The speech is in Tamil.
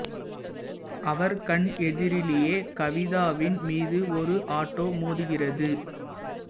அவர் கண் எதிரிலேயே கவிதாவின் மீது ஒரு ஆட்டோ மோதுகிறது